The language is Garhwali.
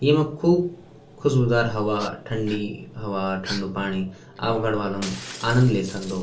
येमा खूब खुशबूदार हवा ठंडी हवा ठण्डु पाणी आपक गढ़वाल म आनंद ले सक्दो ।